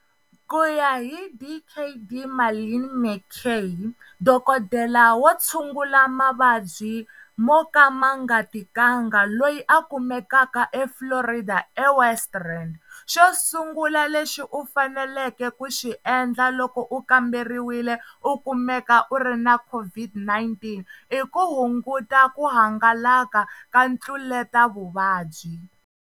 Ku ya hi Dkd Marlin McCay, dokodela wo tshungula mavabyi mo ka ma nga tikanga loyi a kumekaka eFlorida eWest Rand, xo sungula lexi u faneleke ku xi endla loko u kamberiwile u kumeka u ri na COVID-19 i ku hunguta ku hangalaka ka ntluletavuvabyi.